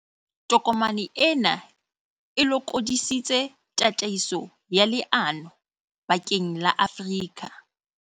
Tokomane ena e lokodi sitse tataiso ya leano bakeng la Afrika